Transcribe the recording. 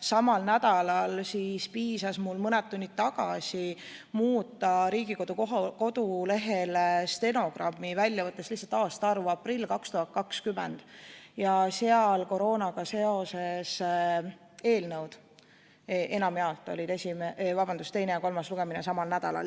samal nädalal, siis piisas mul mõni tund tagasi muuta Riigikogu kodulehel stenogrammi välja võttes lihtsalt aastaarvu ja tuli välja, et 2020. aasta aprillis olid koroonaga seotud eelnõude teine ja kolmas lugemine enamjaolt samal nädalal.